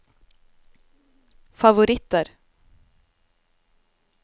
favoritter